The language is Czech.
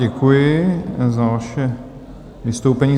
Děkuji za vaše vystoupení.